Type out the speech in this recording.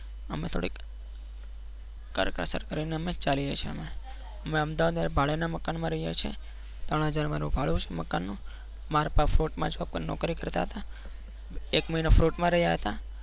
અમે થોડી કરકસર કરીને અમે ચાલીએ છીએ. અમે અમદાવાદ અહીંયા ભાડાના મકાન એ રહીએ છીએ. ત્રણ હજાર મહિને ભાડું છે. મકાનનું મારા પપ્પા પાફતજો નોકરી કરતા હતા. એક મહિનો plot માં રહ્યા હતા.